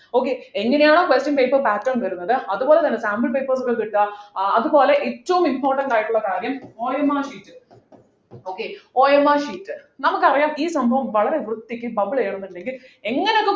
okay എങ്ങനെയാണോ question paper pattern വരുന്നത് അതുപോലെതന്നെ sample paper കൾ കിട്ടുക ഏർ അതുപോലെ ഏറ്റവും important ആയിട്ടുള്ള കാര്യം OMR sheet okayOMRsheet നമുക്കറിയാം ഈ സംഭവം വളരെ വൃത്തിക്ക് bubble ചെയ്യണംന്നുണ്ടെങ്കിൽ എങ്ങനെ